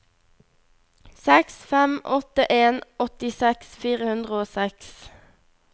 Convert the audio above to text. seks fem åtte en åttiseks fire hundre og seks